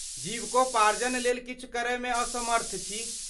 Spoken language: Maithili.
जीविकोपार्जन लेल किछु करयमे असमर्थ छी।